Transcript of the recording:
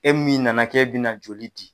E min nana kɛ bɛna joli di.